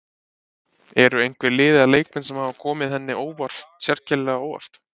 Eru einhver lið eða leikmenn sem hafa komið henni sérstaklega á óvart?